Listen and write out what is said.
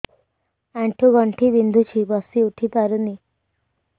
ଆଣ୍ଠୁ ଗଣ୍ଠି ବିନ୍ଧୁଛି ବସିଉଠି ପାରୁନି